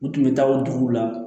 U tun bɛ taa o duguw la